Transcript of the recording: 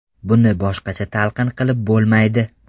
Buni boshqacha talqin qilib bo‘lmaydi.